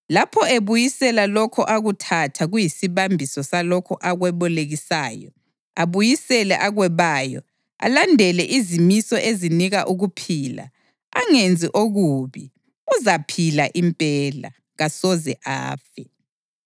lapho ebuyisela lokho akuthatha kuyisibambiso salokho akwebolekisayo, abuyisele akwebayo, alandele izimiso ezinika ukuphila, angenzi okubi, uzaphila impela; kasoze afe.